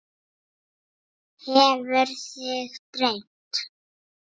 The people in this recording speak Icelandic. Hefur þig dreymt?